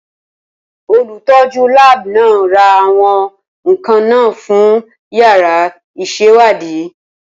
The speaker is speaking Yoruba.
Olùtọ́jú láàbù náà ra àwọn nkan náà fún yàrá ìṣèwádìí.